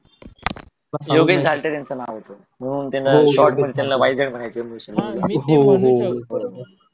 योगेश झाल्टे त्यांचं नाव होतं शॉर्ट मध्ये त्यांना वाय झेड म्हणायचे